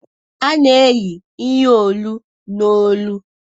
A na-eyi ihe olu n'olu